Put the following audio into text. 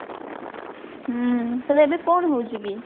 ହୁଁ ସେଇଟା ଏବେ କଣ ହଉଛି କି?